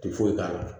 Ti foyi k'a la